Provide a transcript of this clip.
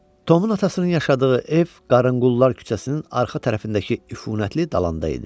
Tomun atasının yaşadığı ev Qarənqullar küçəsinin arxa tərəfindəki üfunətli dalanda idi.